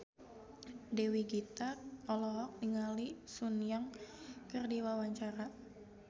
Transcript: Dewi Gita olohok ningali Sun Yang keur diwawancara